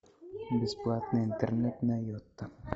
бесплатный интернет на йота